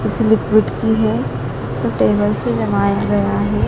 उस लिक्विट की है सो टेबल से जमाया गया है।